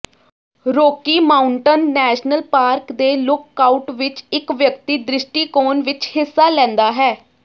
Rocky Mountain National Park ਦੇ lookout ਵਿਚ ਇਕ ਵਿਅਕਤੀ ਦ੍ਰਿਸ਼ਟੀਕੋਣ ਵਿਚ ਹਿੱਸਾ ਲੈਂਦਾ ਹੈ